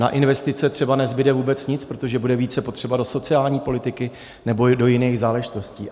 Na investice třeba nezbude vůbec nic, protože bude více potřeba do sociální politiky nebo do jiných záležitostí.